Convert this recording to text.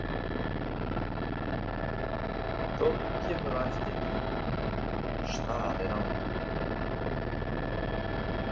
Þórður kemur á eftir mér, starir á mig.